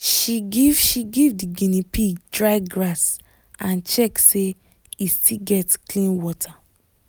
she give she give the guinea pig dry grass and check say e still get clean water.